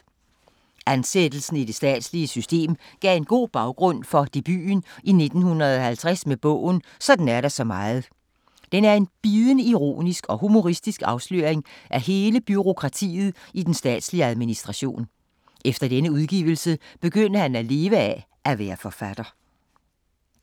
Ansættelsen i det statslige system gav en god baggrund for debuten i 1950 med bogen "Sådan er der så meget". Den er en bidende ironisk og humoristisk afsløring af hele bureaukratiet i den statslige administration. Efter denne udgivelse begyndte han at leve af at være forfatter.